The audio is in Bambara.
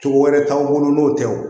Cogo wɛrɛ t'anw bolo n'o tɛ o